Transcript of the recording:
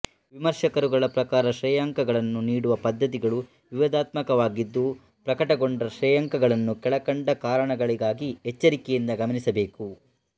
ವಿಮರ್ಶಕರುಗಳ ಪ್ರಕಾರ ಶ್ರೇಯಾಂಕಗಳನ್ನು ನೀಡುವ ಪದ್ಧತಿಗಳು ವಿವಾದಾತ್ಮಕವಾಗಿದ್ದು ಪ್ರಕಟಗೊಂಡ ಶ್ರೇಯಾಂಕಗಳನ್ನು ಕೆಳಕಂಡ ಕಾರಣಗಳಿಗಾಗಿ ಎಚ್ಚರಿಕೆಯಿಂದ ಗಮನಿಸಬೇಕು